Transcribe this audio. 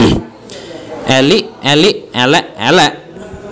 Elik elik élék élék